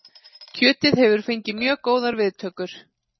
Kjötið hefur fengið mjög góðar viðtökur